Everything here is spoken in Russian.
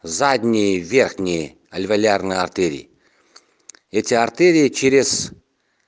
задние верхние альвеолярные артерии я тебя артерия через